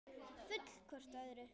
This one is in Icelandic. Full hvort af öðru.